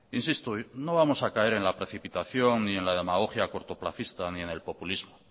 insisto no vamos a caer en la precipitación ni en la demagogia cortoplacista ni en el populismo